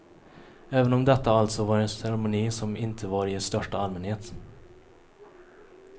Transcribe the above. Även om detta alltså var en ceremoni som inte var i största allmänhet.